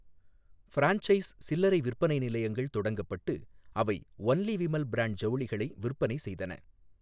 Franchise சில்லறை விற்பனை நிலையங்கள் தொடங்கப்பட்டு அவை ஒன்லி விமல் பிராண்ட் ஜவுளிகளை விற்பனை செய்தன.